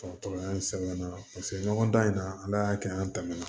Dɔgɔtɔrɔya sɛbɛnna paseke ɲɔgɔn dan in na ala y'a kɛ an tɛmɛna